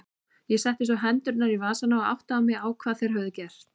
Ég setti svo hendurnar í vasana og áttaði mig á hvað þeir höfðu gert.